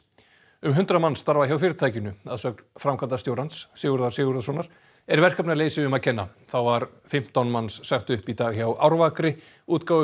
um hundrað manns starfa hjá fyrirtækinu að sögn framkvæmdastjórans Sigurðar Sigurðssonar er verkefnaleysi um að kenna þá var fimmtán manns sagt upp í dag hjá Árvakri